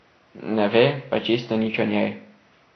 Ne ve pa čisto nič o njej.